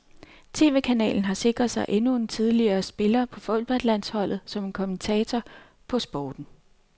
Tv-kanalen har sikret sig endnu en tidligere spiller på fodboldlandsholdet som kommentator på sporten.